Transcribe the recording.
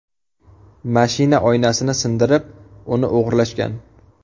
Mashina oynasini sindirib, uni o‘g‘irlashgan.